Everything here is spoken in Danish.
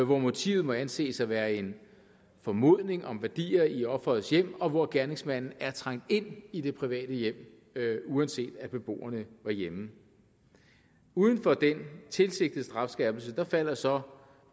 hvor motivet må anses for at være en formodning om værdier i offerets hjem og hvor gerningsmanden er trængt ind i det private hjem uanset at beboerne var hjemme uden for den tilsigtede strafskærpelse falder så